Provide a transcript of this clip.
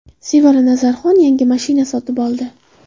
Sevara Nazarxon yangi mashina sotib oldi.